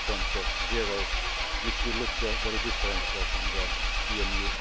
EMU 2.0, which will look very different from the